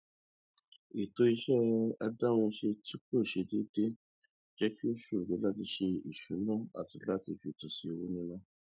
ètò iṣẹ adáhunṣe tí kò ṣe déédé jẹ kí ó ṣòro láti ṣe ìṣúná àti láti fètò sí owó níná